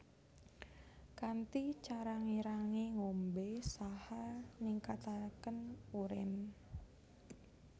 Kanthi cara ngirangi ngombè saha ningkatakén urin